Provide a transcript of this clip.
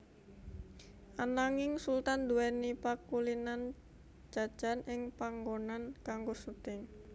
Ananging Sultan nduwèni pakulinan jajan ing panggonan kanggo syuting